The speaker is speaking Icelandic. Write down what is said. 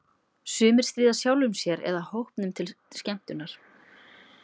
Sumir stríða sjálfum sér eða hópnum til skemmtunar.